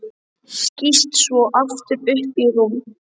Skýst svo aftur upp í rúm.